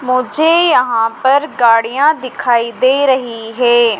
मुझे यहां पर गाड़ियां दिखाई दे रही है।